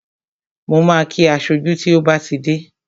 Mo ma kí aṣojú tí ó bá ti dé bí